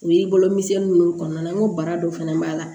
O y'i bolo miseli minnu kɔnɔna na n ko baara dɔ fɛnɛ b'a la